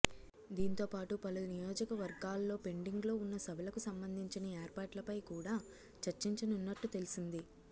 దీంతోపాటు పలు నియోజకవర్గాల్లో పెండింగ్లో ఉన్న సభలకు సంబంధించిన ఏర్పాట్లపై కూడా చర్చించనున్నట్టు తెలిసింది